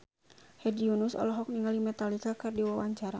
Hedi Yunus olohok ningali Metallica keur diwawancara